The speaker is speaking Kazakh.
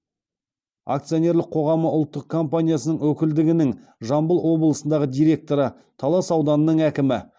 акционерлік қоғамы ұлттық компаниясының өкілдігінің жамбыл облысындағы директоры талас ауданының әкімі